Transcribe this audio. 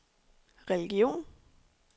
religion